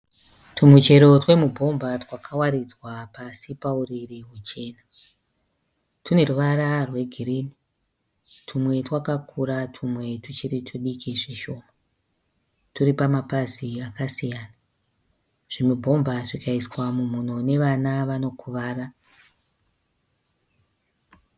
Twumuchero twemuBhomba twakawaridzwa pasi pauriri hwuchena. Twune ruvara rwegirini, twumwe twakakura twumwe tuchiri twudiki zvishoma. Turi pamapazi akasiyana. ZvimuBhomba zvikaiswa mumhino nevana vanokuvara.